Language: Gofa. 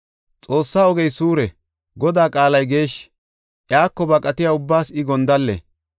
Xoossaa ogey suure; Godaa qaalay geeshshi; iyako baqatiya ubbaas I gondalle.